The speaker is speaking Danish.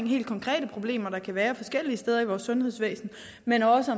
helt konkrete problemer der kan være de forskellige steder i vores sundhedsvæsen men også